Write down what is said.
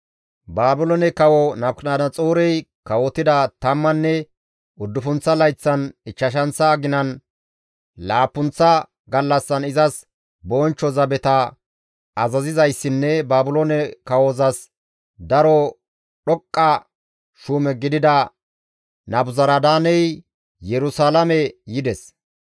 Baabiloone kawo Nabukadanaxoorey kawotida tammanne uddufunththa layththan ichchashanththa aginan laappunththa gallassan izas bonchcho zabeta azazizayssinne Baabiloone kawozas daro dhoqqa shuume gidida Nabuzaradaaney Yerusalaame yides.